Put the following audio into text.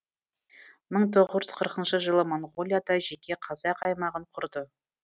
мың тоғыз жүз қырқыншы жылы моңғолияда жеке қазақ аймағын кұрды